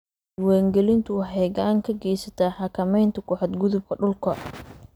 Diiwaangelintu waxay gacan ka geysataa xakamaynta ku xadgudubka dhulka.